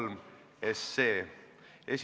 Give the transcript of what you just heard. Muudatusettepanek nr 2.